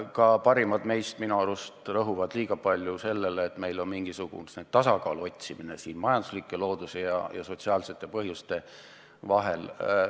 Ka parimad meist minu arust rõhuvad liiga palju sellele, et meil toimub mingisugune tasakaalu otsimine majanduslike, looduse ja sotsiaalsete argumentide vahel.